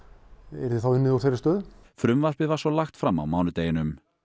yrði unnið úr þeirri stöðu frumvarpið var svo lagt fram á mánudeginum